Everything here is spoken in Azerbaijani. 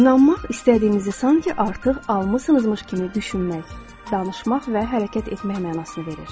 İnanmaq istədiyinizi sanki artıq almısınızmış kimi düşünmək, danışmaq və hərəkət etmək mənasını verir.